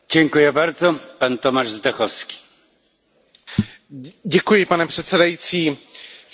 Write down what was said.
Všichni jsme si vědomi toho, že v posledních letech se digitalizuje všechno kolem nás.